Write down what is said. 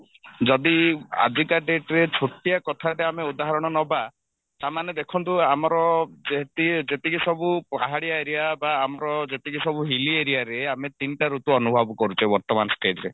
ଯଦି ଆଜିକା date ରେ ଛୋଟିଆ କଥାଟେ ଆମେ ଉଦାହରଣ ନବା ତାମାନେ ଦେଖନ୍ତୁ ଆମର ଯେତି ଯେତିକି ସବୁ ପାହାଡିଆ area ବା ଯେତିକି ସବୁ hilly areaରେ ଆମେ ତିନିଟା ଋତୁ ଅନୁଭବ କରୁଛେ ବର୍ତମାନ stage ରେ